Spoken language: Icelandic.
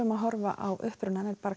að horfa á upprunann er bara